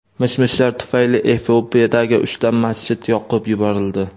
Mish-mishlar tufayli Efiopiyadagi uchta masjid yoqib yuborildi.